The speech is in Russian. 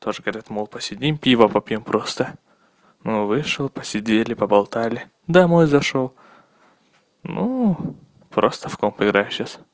тоже говорят мол посидим пива попьём просто ну вышел посидели поболтали домой зашёл ну просто в комп играю сейчас